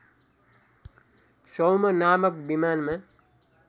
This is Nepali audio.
सौम नामक विमानमा